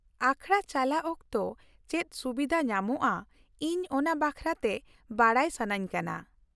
ᱟᱠᱷᱲᱟ ᱪᱟᱞᱟᱜ ᱚᱠᱛᱚ ᱪᱮᱫ ᱥᱩᱵᱷᱤᱫᱟ ᱧᱟᱢᱚᱜᱼᱟ ᱤᱧ ᱚᱱᱟ ᱵᱟᱠᱷᱨᱟᱛᱮ ᱵᱟᱰᱟᱭ ᱥᱟᱹᱱᱟᱹᱧ ᱠᱟᱱᱟ ᱾